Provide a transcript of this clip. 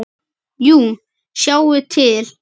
Jú, sjáið til.